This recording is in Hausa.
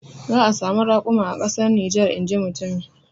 Za a samu rakuma a kasar Niger inji mutumin.